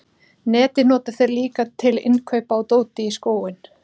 Netið nota þeir líka til innkaupa á dóti í skóinn.